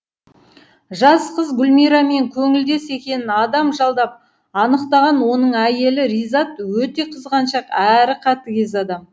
жас қыз гүлмирамен көңілдес екенін адам жалдап анықтаған оның әйелі ризат өте қызғаншақ әрі қатыгез адам